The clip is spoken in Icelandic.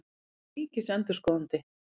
Hver er ríkisendurskoðandi?